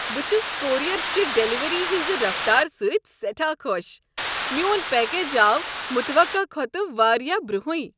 بہٕ چھس کوریر چہ ڈلیوری ہٕنٛزِ رفتار سۭتۍ سیٹھاہ خۄش ۔ میون پیکج آو متوقع کھوتہٕ واریاہ برونٛہٕے۔